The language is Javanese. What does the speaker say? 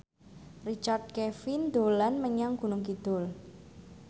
Richard Kevin dolan menyang Gunung Kidul